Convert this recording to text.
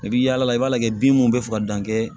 I bi yaala i b'a lajɛ bin minnu bɛ fɔ ka dan kɛ